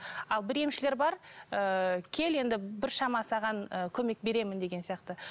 ал бір емшілер бар ыыы кел енді біршама саған ы көмек беремін деген сияқты